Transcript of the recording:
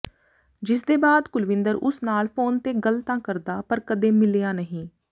ਜਿਸਦੇ ਬਾਅਦ ਕੁਲਵਿੰਦਰ ਉਸ ਨਾਲ ਫੋਨ ਤੇ ਗੱਲ ਤਾਂ ਕਰਦਾ ਪਰ ਕਦੇ ਮਿਲਿਆ ਨਹੀਂ